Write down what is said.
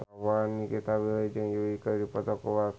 Nikita Willy jeung Yui keur dipoto ku wartawan